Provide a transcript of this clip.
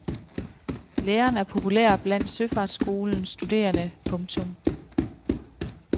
Læreren er populær blandt søfartsskolens studerende. punktum